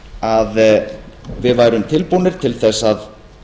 að við værum tilbúnir til þess að